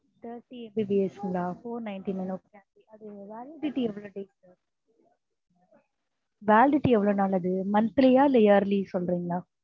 thirty MBPS ங்களா four ninty nine okay அது validity எவ்வளவு validity எவ்வளவு நாள் அது monthly ஆ இல்லை yearly சொல்றீங்களா?